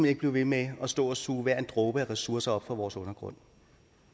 ikke blive ved med at stå og suge hver en dråbe af ressourcer op fra vores undergrund